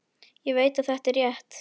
Ég veit að þetta er rétt.